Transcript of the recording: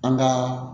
An ka